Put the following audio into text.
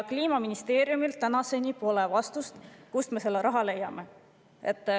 Kliimaministeeriumilt pole tänaseni tulnud vastust, kust me selle raha leiame.